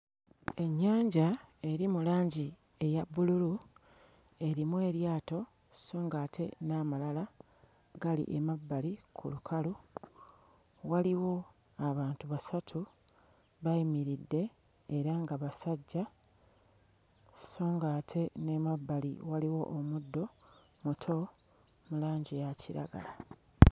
Ennyanja eri mu langi eya bbululu erimu eryato sso ng'ate n'amalala gali emabbali ku lukalu, waliwo abantu basatu bayimiridde era nga basajja, sso ng'ate n'emabbali waliwo omuddo muto mu langi eya kiragala.